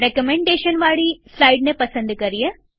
recommendation થી નિર્દેશિત થયેલ સ્લાઈડને પસંદ કરીએ